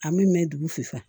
A min mɛn dugu fusa